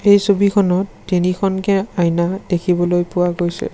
এই ছবিখনত তিনিখনকে আইনা দেখিবলৈ পোৱা গৈছে।